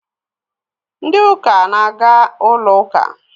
Ndị uka na-aga ụlọ ụka